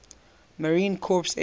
marine corps air